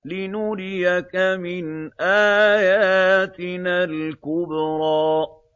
لِنُرِيَكَ مِنْ آيَاتِنَا الْكُبْرَى